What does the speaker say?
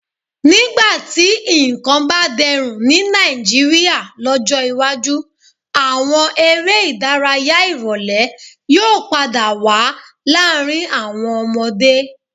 Nígbà tí nǹkan bá dẹrùn ní Nàìjíríà lọ́jọ́ iwájú, àwọn eré ìdárayá ìrólẹ́ yóò padà wá láàrin àwọn ọmọdé